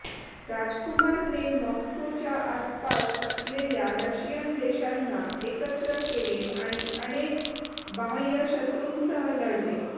राजकुमारने मॉस्कोच्या आसपास असलेल्या रशियन देशांना एकत्र केले आणि अनेक बाह्य शत्रुंसह लढले